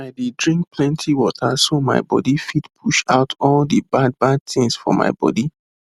i dey drink plenty water so my body fit push out all the bad bad thing for my body